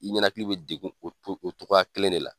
I ɲɛnakili bɛ degun o o cogoya kelen de la.